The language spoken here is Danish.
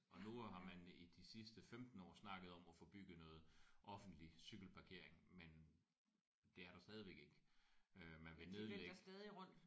Og nu har man i de sidste 15 år snakket om at få bygget noget offentlig cykelparkering men det er der stadigvæk ikke øh man vil nedlægge